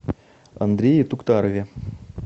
андрее туктарове